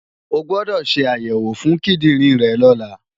O gbọdọ̀ ṣe àyẹ̀wò fún kíndìnrín rẹ̀ lọ́la!